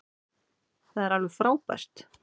Þetta er alveg frábært.